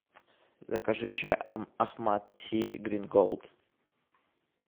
закажи чай ахмад ти грин голд